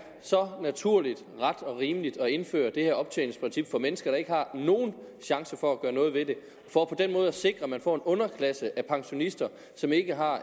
så naturligt ret og rimeligt at indføre det her optjeningsprincip for mennesker der ikke har nogen chance for at gøre noget ved det for på den måde at sikre at man får en underklasse af pensionister som ikke har